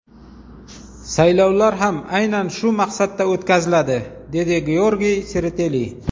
Saylovlar ham aynan shu maqsadda o‘tkaziladi” dedi Georgiy Sereteli.